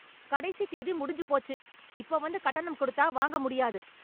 கடைசித் தேதி முடிஞ்சு போச்சு, இப்ப வந்து கட்டணம் கொடுத்தா வாங்க முடியாது.